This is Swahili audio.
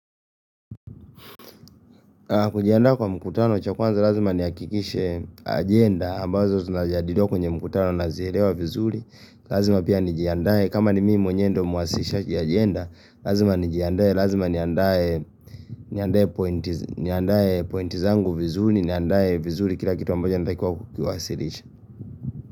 Kujiandaa kwa mkutano cha kwanza lazima ni hakikishe agenda ambazo zinajadiliwa kwenye mkutano nazielewa vizuri. Lazima pia nijiandaa kama ni mimi mwenyewe ndiyo mwasilishaji agenda. Lazima nijiandae, lazima ni andae. Niandae pointi zangu vizuri, niandae vizuri kila kitu ambacho ninatakiwa ku kiwasilisha.